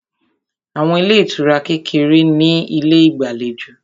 Àwọn ilé ìtura kékeré ní ilé ìgbàlejò